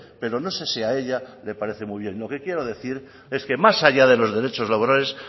pero no sé si a ella le parece muy bien lo que quiero decir es que más allá de los derechos laborales